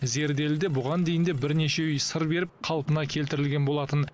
зерделіде бұған дейін де бірнеше үй сыр беріп қалпына келтірілген болатын